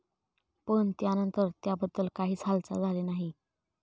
पण, त्यानंतर त्याबद्दल काहीच हालचाल झाली नाही.